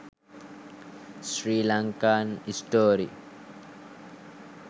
sri lankan story